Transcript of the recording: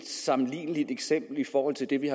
sammenligneligt eksempel i forhold til det vi